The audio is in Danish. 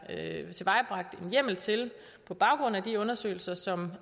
tilvejebragt en hjemmel til på baggrund af de undersøgelser som